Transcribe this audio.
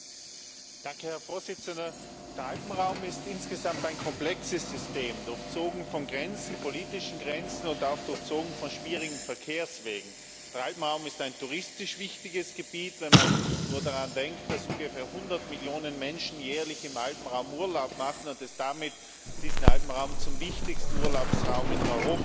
Herr Präsident! Der Alpenraum ist insgesamt ein komplexes System, durchzogen von Grenzen, politischen Grenzen, und auch durchzogen von schwierigen Verkehrswegen. Der Alpenraum ist ein touristisch wichtiges Gebiet, wenn man nur daran denkt, dass ungefähr hundert Millionen Menschen jährlich im Alpenraum Urlaub machen und diesen Alpenraum damit zum wichtigsten Urlaubsraum in Europa machen.